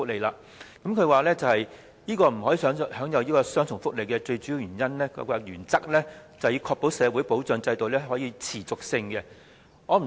局長認為不可享有雙重福利的最主要原因是，必須確保社會保障制度的持續性。